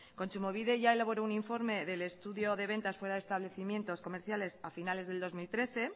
kontsumobide ya elaboró un informe del estudio de ventas fuera de establecimientos comerciales a finales del dos mil trece